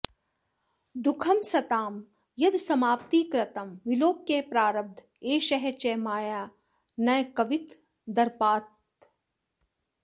दुःखं सतां यदसमाप्तिकृतं विलोक्य प्रारब्ध एष च मया न कवित्वदर्पात्